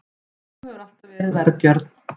Þú hefur alltaf verið vergjörn.